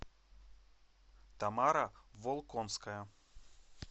тамара волконская